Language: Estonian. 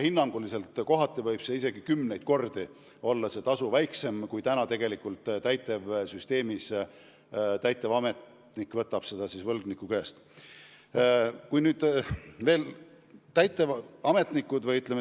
Hinnanguliselt võib see tasu olla kümneid kordi väiksem, kui täitevametnik võlgniku käest võtab.